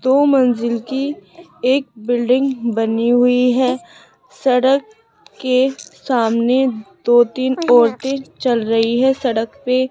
दो मंजिल की एक बिल्डिंग बनी हुई है सड़क के सामने दो तीन औरतें चल रही है सड़क पे --